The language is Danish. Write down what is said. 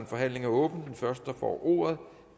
forhandlingen er åbnet den første der får ordet